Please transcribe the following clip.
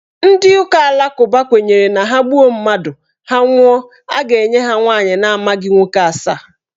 Ndị ụka alakụba kwenyere na ha gbuo mmadụ, ha nwụọ, a ga-enye ha nwaanyị na amaghị nwoke asaa.